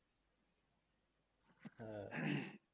হ্যাঁ